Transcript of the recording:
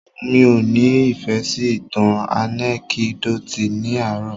Mí ọ́ ni ìfẹ́ sí ìtàn ànẹ́kídòtì ní àárò.